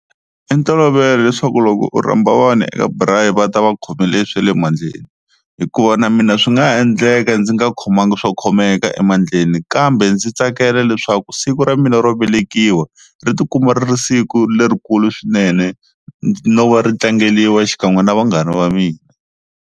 I ntolovelo leswaku loko u rhamba vanhu eka braai va ta va khomele swa le mandleni hikuva na mina swi nga ha endleka ndzi nga khomangi swo khomeka emandleni kambe ndzi tsakela leswaku siku ra mina ro velekiwa ri ti kuma ri ri siku lerikulu swinene no va ri tlangeriwa xikan'we na vanghana va mina.